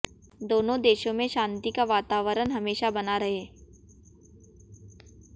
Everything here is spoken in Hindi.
दोनों देशों में शांति का वातावरण हमेशा बना रहे